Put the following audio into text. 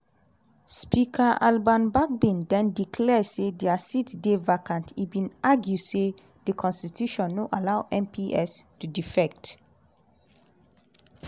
speaker alban bagbin den declare say dia seats dey vacant e bin argue say di constitution no allow mps to defect.